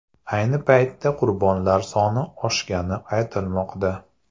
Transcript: Ayni paytda qurbonlar soni oshgani aytilmoqda.